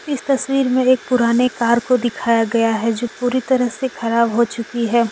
इस तस्वीर में एक पुराने कार को दिखाया गया हैजो पूरी तरह से खराब हो चुकी है।